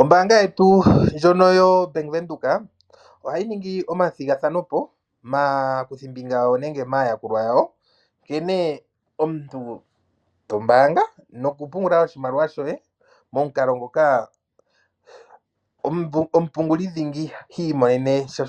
Ombaanga yetu ndjono yo Bank Windhoek ohayi ningi omathigathano po maakuthimbinga yawo nenge maayakulwa yawo. Nkene omuntu to mbaanga, nokupungula oshimaliwa shoye momukalo ngoka omupunguli dhingi ha imonene sha